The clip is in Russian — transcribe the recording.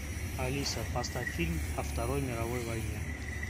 алиса поставь фильм о второй мировой войне